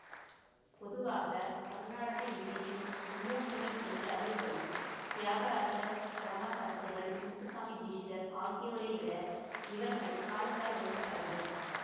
பொதுவாக கருநாடக இசையின் மும்மூர்த்திகள் என்று அறியப்படும் தியாகராசர் சியாமா சாஸ்திரிகள் முத்துச்சாமி தீட்சிதர் ஆகியோரை விட இவர்கள் காலத்தால் முற்பட்டவர்கள்